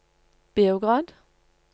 Beograd